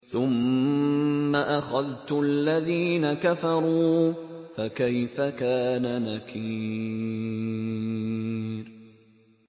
ثُمَّ أَخَذْتُ الَّذِينَ كَفَرُوا ۖ فَكَيْفَ كَانَ نَكِيرِ